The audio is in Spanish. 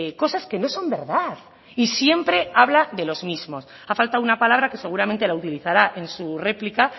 cosas que no son verdad y siempre habla de los mismos ha faltado una palabra que seguramente la utilizará en su réplica